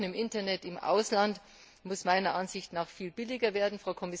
Das Surfen im Internet im Ausland muss meiner Ansicht nach viel billiger werden.